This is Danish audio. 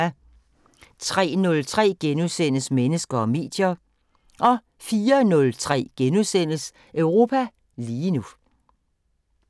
03:03: Mennesker og medier * 04:03: Europa lige nu *